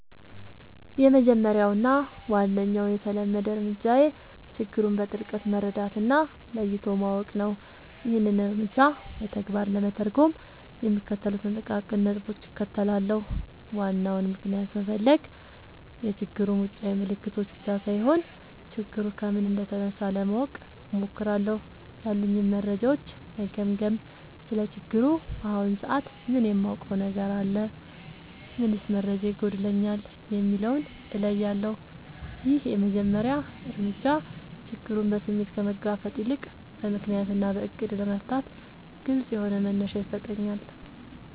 —የመጀመሪያው እና ዋነኛው የተለመደ እርምጃዬ ችግሩን በጥልቀት መረዳት እና ለይቶ ማወቅ ነው። ይህንን እርምጃ በተግባር ለመተርጎም የሚከተሉትን ጥቃቅን ነጥቦች እከተላለሁ፦ ዋናውን ምክንያት መፈለግ፣ የችግሩን ውጫዊ ምልክቶች ብቻ ሳይሆን፣ ችግሩ ከምን እንደተነሳ ለማወቅ እሞክራለሁ። ያሉኝን መረጃዎች መገምገም: ስለ ችግሩ በአሁኑ ሰዓት ምን የማውቀው ነገር አለ? ምንስ መረጃ ይጎድለኛል? የሚለውን እለያለሁ። ይህ የመጀመሪያ እርምጃ ችግሩን በስሜት ከመጋፈጥ ይልቅ በምክንያት እና በዕቅድ ለመፍታት ግልጽ የሆነ መነሻ ይሰጠኛል።